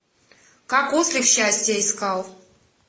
как ослик счастье искал